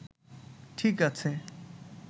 ঠিক আছে